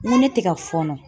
N ko ne tɛ ka fɔɔnɔ